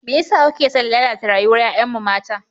Me yasa kuke son lalata rayuwar 'ya'yanmu mata?